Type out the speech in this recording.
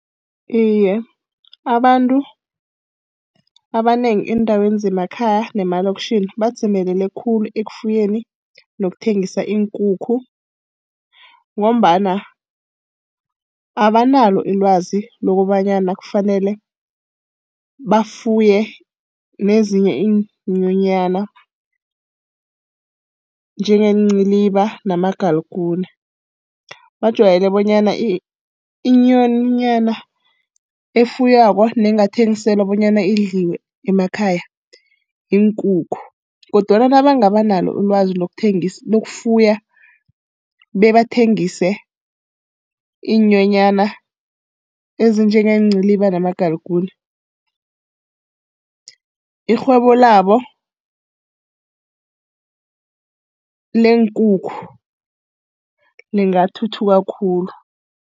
Iye, abantu abanengi eendaweni zemakhaya nemalokitjhini badzimelele khulu ekufuyeni nokuthengisa iinkukhu ngombana abanalo ilwazi lokobanyana kufanele bafuye nezinye iinyonyana njengeenciliba namagalukuni. Bajwayele bonyana inyonyana efuywako nengathengiselwa bonyana idliwe emakhaya yiinkukhu kodwana nabangaba nalo ilwazi lokuthengisa, lokufuya bebathengise iinyonyana ezinjengeenciliba namagalukuni, irhwebo labo leenkukhu lingathuthuka khulu.